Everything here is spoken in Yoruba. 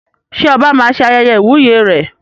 Ṣé oba máa ṣe ayẹyẹ ìwúyè rẹ̀?